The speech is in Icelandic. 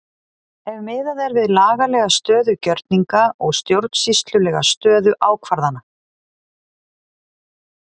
Ef miðað er við lagalega stöðu gjörninga og stjórnsýslulega stöðu ákvarðana?